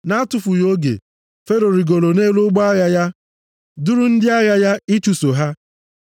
Na-atụfughị oge, Fero rigoro nʼelu ụgbọ agha ya, duru ndị agha ya ịchụso ha.